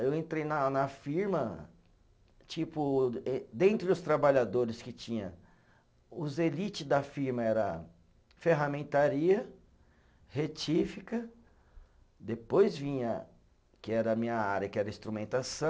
Eu entrei na na firma, tipo êh, dentre os trabalhadores que tinha, os elites da firma era ferramentaria, retífica, depois vinha, que era a minha área, que era instrumentação,